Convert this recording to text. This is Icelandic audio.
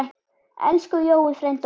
Elsku Jói frændi okkar.